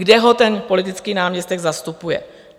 Kde ho ten politický náměstek zastupuje?